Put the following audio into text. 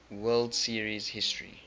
world series history